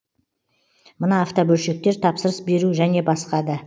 мына автобөлшектер тапсырыс беру және басқа да